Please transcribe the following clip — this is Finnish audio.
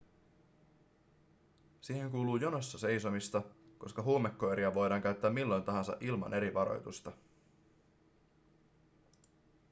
siihen kuuluu jonossa seisomista koska huumekoiria voidaan käyttää milloin tahansa ilman eri varoitusta